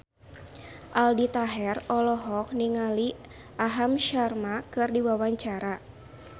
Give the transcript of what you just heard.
Aldi Taher olohok ningali Aham Sharma keur diwawancara